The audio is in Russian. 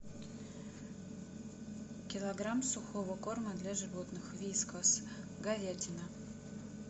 килограмм сухого корма для животных вискас говядина